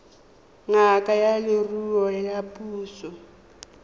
ngaka ya leruo ya puso